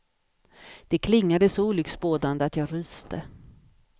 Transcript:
Det klingade så olycksbådande att jag ryste.